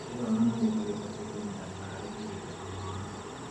Itura ona rĩo nĩ rĩbatiĩ kũnyitanĩra harĩ kũgitĩra mwana